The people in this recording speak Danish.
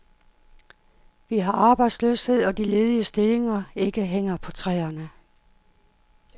Vi har arbejdsløshed, og de ledige stillinger ikke hænger på træerne.